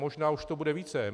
Možná už to bude více.